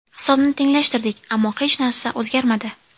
Hisobni tenglashtirdik, ammo hech narsa o‘zgarmadi.